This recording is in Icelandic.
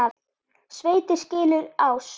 Sveitir skilur ás.